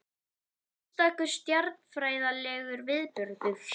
Einstakur stjarnfræðilegur viðburður